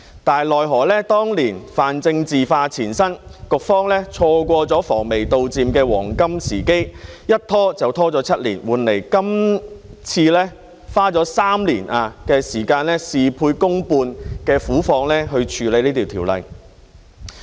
但是，奈何當年泛政治化纏身，局方錯過了防微杜漸的黃金時機，一拖就拖了7年，換來今次花了3年的時間、事倍功半的苦況，處理《條例草案》。